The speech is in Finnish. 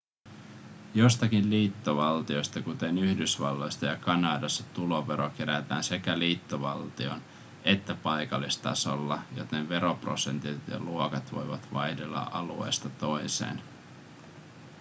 joissakin liittovaltioissa kuten yhdysvalloissa ja kanadassa tulovero kerätään sekä liittovaltion että paikallistasolla joten veroprosentit ja luokat voivat vaihdella alueesta toiseen